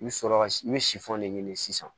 I bɛ sɔrɔ ka i bɛ de ɲini sisan